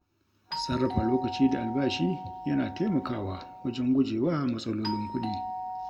Sarrafa lokaci da albashi yana taimakawa wajen gujewa matsalolin kuɗi.